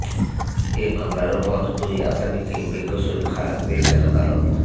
এ মামলার অপর দুই আসামিকে বেকসুর খালাস দিয়েছেন আদালত